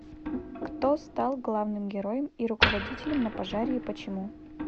кто стал главным героем и руководителем на пожаре и почему